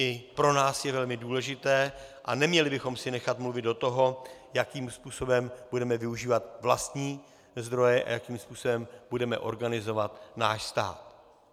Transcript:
I pro nás je velmi důležité a neměli bychom si nechat mluvit do toho, jakým způsobem budeme využívat vlastní zdroje a jakým způsobem budeme organizovat náš stát.